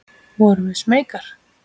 Vorum við smeykar?